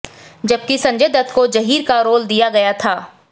जबकि संजय दत्त को जहीर का रोल दिया गया था